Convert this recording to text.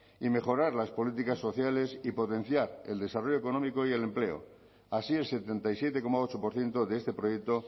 y mejorar las políticas sociales y potenciar el desarrollo económico y el empleo así el setenta y siete coma ocho por ciento de este proyecto